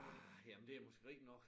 Ah jamen det måske rigtigt nok